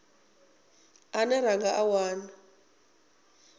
ane ra nga a wana